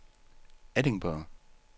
Edinburgh